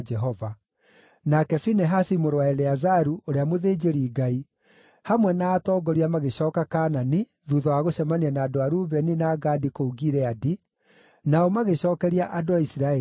Nake Finehasi mũrũ wa Eleazaru, ũrĩa mũthĩnjĩri-Ngai, hamwe na atongoria magĩcooka Kaanani thuutha wa gũcemania na andũ a Rubeni na Gadi kũu Gileadi, nao magĩcookeria andũ a Isiraeli ũhoro.